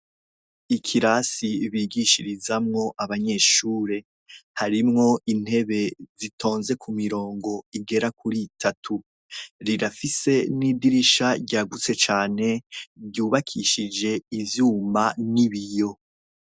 Ikirasi bigishirizamwo abanyeshure harimwo intebe zitonze ku mirongo igera kuri itatu rirafise n'idirisha ryagutse cane ryubakishije ivyuma n'ibiyo.